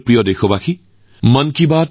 মোৰ প্ৰিয় দেশবাসী এইবাৰৰ মন কী বাত ইমানেই